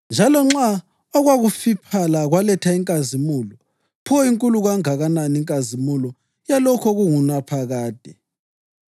Njalo nxa okwakufiphala kwaletha inkazimulo, pho inkulu kangakanani inkazimulo yalokho okungulaphakade!